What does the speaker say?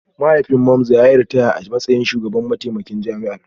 Mahaifin Mamza ya yi ritaya a matsayin mataimakin shugaban jami'a